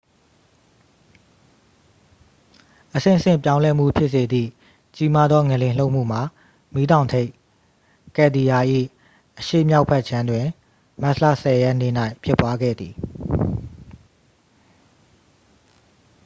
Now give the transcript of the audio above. အဆင့်ဆင့် ပြောင်းလဲမှု ဖြစ်စေသည့် ကြီးမားသော ငလျင် လှုပ်မှုမှာ မီးတောင်ထိပ် ကယ်လ်ဒီယာ၏ အရှေ့မြောက်ဘက်ခြမ်းတွင် မတ်လ 10 ရက်နေ့၌ ဖြစ်ပွားခဲ့သည်